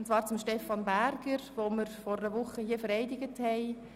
Diese betrifft Stefan Berger, den wir vor einer Woche hier vereidigt haben.